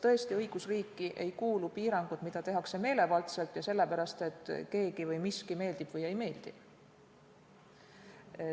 Tõesti, õigusriiki ei kuulu piirangud, mida tehakse meelevaldselt ja sellepärast, et keegi või miski meeldib või ei meeldi.